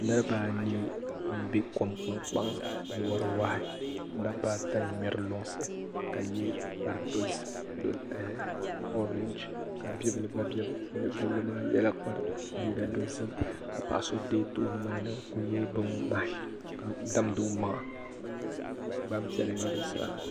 Niribaanii m be kom nangbankpaŋa ka wari wahi dabbaata n ŋmeri lunsi ka ye kpari dozim ka bibili gba be puuni bibili ŋɔ yela liiga dozim ka paɣa so be tooni nimaa ni n kuli ye bin ŋmahi ka damdi o maŋa Gbanpiɛla n nye bi zaa.